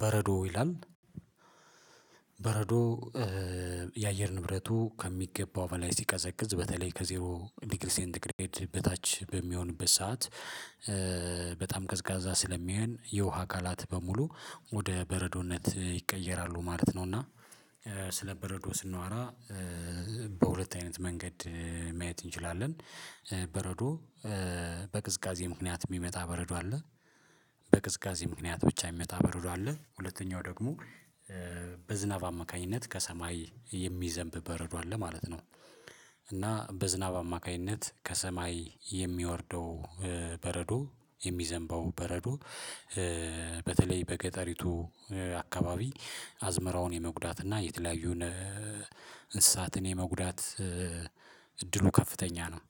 በረዶ ይላል በረዶ የአየር ንብረቱ ከሚገባው በላይ ሲቀዘቅዝ በተለይ ከዜሮ ዲግሪ ሴንት ግሬድ በታች በሚሆንበት ሰዓት። ቀዝቃዛ ስለሚሆን የውሃ አካላት በሙሉ ወደ በረዶነት ይቀየራሉ ማለት ነው። እና ስለ በረዶ ስናወራ በሁለት አይነት መንገድ ማየት እንችላለን። በረዶ በቅዝቃዜ ምክንያት የሚመጣ በረዶ አለ። በቅዝቃዜ ምክንያት ብቻ የሚመጣ በረዶ አለ። ሁለተኛው ደግሞ በዝናብ አማካኝነት ከሰማይ የሚዘንብ በረዶ አለ ማለት ነው። እና በዝናብ አማካይነት ከሰማይ የሚወርደው በረዶ የሚዘንበው በረዶ በተለይ በገጠሪቱ አካባቢ አዝመራውን የመጉዳትና እና የተለያዩን እንስሳትን የመጉዳት እድሉ ከፍተኛ ነው።